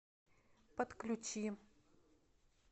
подключи